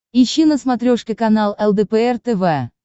ищи на смотрешке канал лдпр тв